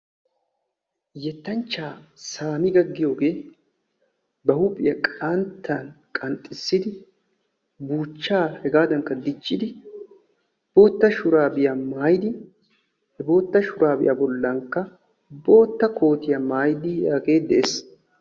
Yettanchchata Samiga giyogee ba huuphphiya qanttan qanxxissidi buuchchaa hegaadankka dichchidi boottaa shuraabiya mayidi he boottaa shuraabiya bollankka boottaa kootiya maayidagee dees.